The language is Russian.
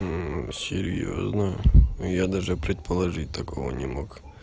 серьёзно я даже предположить такого не мог